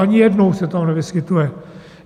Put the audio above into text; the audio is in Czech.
Ani jednou se tam nevyskytuje.